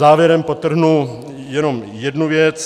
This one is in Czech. Závěrem podtrhnu jenom jednu věc.